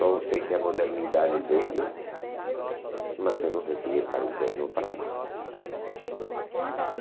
Só sei que a modernidade veio, mas eu não sei se é para o bem ou para o mal. E